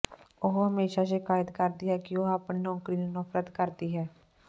ਉਹ ਹਮੇਸ਼ਾ ਸ਼ਿਕਾਇਤ ਕਰਦੀ ਹੈ ਕਿ ਉਹ ਆਪਣੀ ਨੌਕਰੀ ਨੂੰ ਨਫ਼ਰਤ ਕਰਦੀ ਹੈ